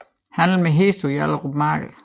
Handel med heste på Hjallerup Marked